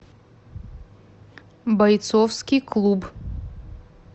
бойцовский клуб